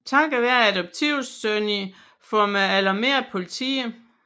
Takket være adoptivsønnen får man alarmeret politiet